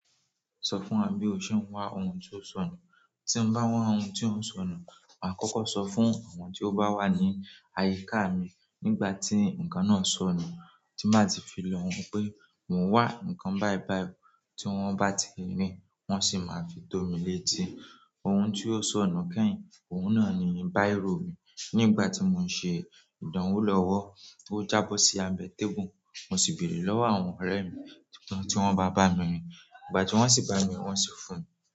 Sọ fún wa bí o ṣe ń wá ohun tó sọnù. Tí mo bá n wá ohun tó sọnù, màá kọ́kọ́ sọ fún àwọn tí ó bá wà ní àyíká mi nígbà tí ǹkan náà sọnù, tí màá ti fi lọ̀ wọ́n pé mo wà ǹkan bàìbàì tí wọ́n bá ti rí i, wọ́n sì máa fi tómi létí. Ohun tí ó sọnù kẹ́yìn, òun náà ni bírò mi. Nígbà tí mò ń ṣe ìdánwò lọ́wọ́, ti ó jábọ́ sí abẹ table, mo sì béèrè lọ́wọ́ àwọn ọ̀rẹ́ mi tí wọ́n bá bá mi rì. Ìgbà tí wọ́n sì bà mi, wọ́n sì fún.